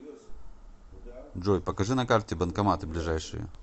джой покажи на карте банкоматы ближайшие